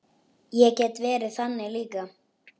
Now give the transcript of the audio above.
Ég get verið þannig líka.